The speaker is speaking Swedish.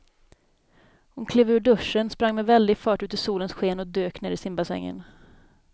Hon klev ur duschen, sprang med väldig fart ut i solens sken och dök ner i simbassängen.